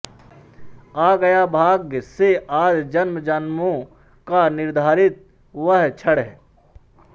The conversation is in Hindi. आ गया भाग्य से आज जन्मजन्मों का निर्धारित वह क्षण